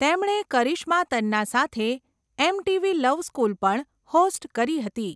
તેમણે કરિશ્મા તન્ના સાથે 'MTV love school' પણ હોસ્ટ કરી હતી.